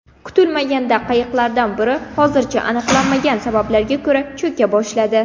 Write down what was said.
Kutilmaganda qayiqlardan biri hozircha aniqlanmagan sababga ko‘ra cho‘ka boshladi.